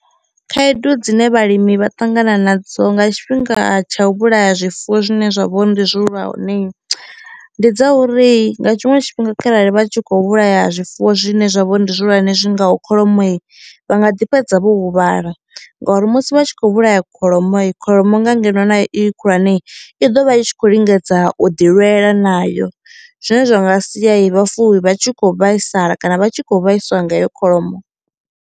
Khaedu dzine vhalimi vha ṱangana nadzo nga tshifhinga tsha u vhulaya zwifuwo zwine zwa vha uri ndi zwihulwane ndi dza uri nga tshiṅwe tshifhinga kharali vha tshi kho vhulaya zwifuwo zwine zwa vho uri ndi zwihulwane zwi ngaho kholomoi vha nga ḓi fhedza vho huvhala ngori musi vha tshi kho vhulaya kholomoi kholomo nga ngeno na yo khulwane i ḓo vha i tshi khou lingedza u ḓi lwela nayo zwine zwa nga sia i vhafuwi vha tshi kho vhaisala kana vha tshi khou vhaiswa nga heyo kholomo.